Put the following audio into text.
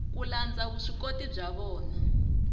ku landza vuswikoti bya vona